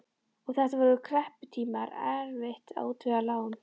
Og þetta voru krepputímar, erfitt að útvega lán.